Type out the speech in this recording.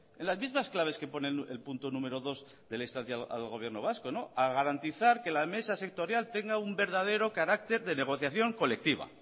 en las mismas claves que pone en el punto número dos de la instancia al gobierno vasco a garantizar que la mesa sectorial tenga un verdadero carácter de negociación colectiva